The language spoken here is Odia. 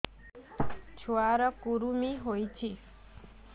ଛୁଆ ର କୁରୁମି ହୋଇଛି